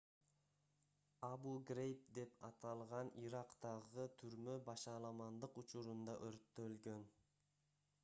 абу-грейб деп аталган ирактагы түрмө башаламандык учурунда өрттөлгөн